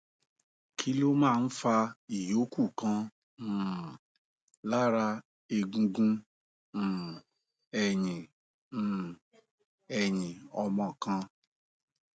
kí ló máa ń fa ìyókù kan um lára egungun um ẹyìn um ẹyìn ọmọ kan